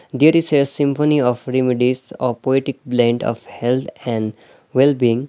There is a symphony of remedies of poetic blend of health and well being.